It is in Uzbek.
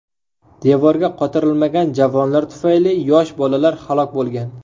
Devorga qotirilmagan javonlar tufayli yosh bolalar halok bo‘lgan.